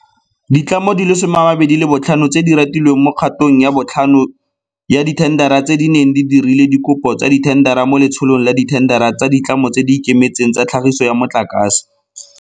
Ditlamo di le 25 tse di ratilweng mo kgatong ya botlhano ya dithendara tse di neng di dirile dikopo tsa dithendara mo Letsholong la Dithendara tsa Ditlamo tse di Ikemetseng tsa Tlhagiso ya Motlakase.